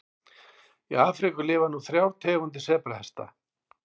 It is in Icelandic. Í Afríku lifa nú þrjár tegundir sebrahesta.